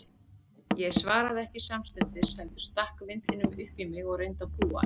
Ég svaraði ekki samstundis, heldur stakk vindlinum upp í mig og reyndi að púa hann.